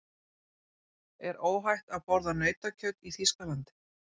Er óhætt að borða nautakjöt í Þýskalandi?